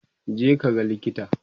je ka ga likita!